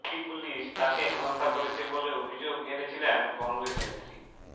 UP police তাঁকে হেনস্থা করেছে বলে অভিযোগ এনেছিলেন কংগ্রেস নেত্রী